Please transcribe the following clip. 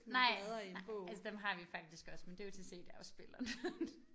Nej altså dem har vi faktisk også men det jo til cd-afspilleren